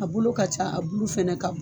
A bolo ka ca a bulu fɛnɛ ka bon